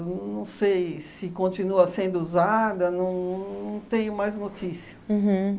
Não sei se continua sendo usada, não tenho mais notícia. Uhum